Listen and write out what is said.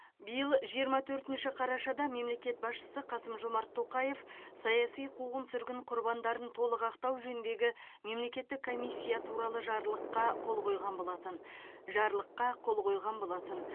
биыл жиырма төртінші қарашада мемлекет басшысы қасым жомарт тоқаев саяси қуғын сүргін құрбандарын толық ақтау жөніндегі мемлекеттік комиссия туралы жарлыққа қол қойған болатын жарлыққа қол қойған болатын